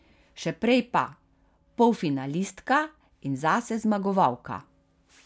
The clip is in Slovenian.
Še prej pa: 'Polfinalistka in zase zmagovalka.